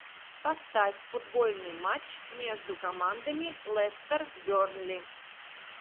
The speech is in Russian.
поставь футбольный матч между командами лестер бернли